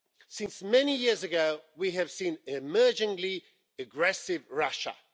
Since many years ago, we have seen an increasingly aggressive Russia.